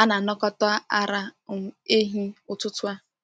a na-anakọta ara um ehi ụtụtụ a.